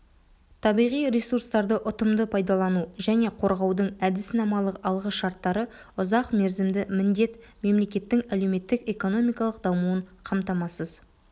табиғи ресурстарды ұтымды пайдалану және қорғаудың әдіснамалық алғы шарттары ұзақ мерзімді міндет мемлекеттің әлеуметтік-экономикалық дамуын қамтамасыз